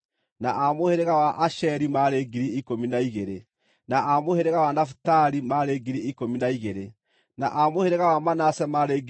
na a mũhĩrĩga wa Asheri maarĩ 12,000, na a mũhĩrĩga wa Nafitali maarĩ 12,000, na a mũhĩrĩga wa Manase maarĩ 12,000,